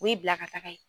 O y'i bila ka taga yen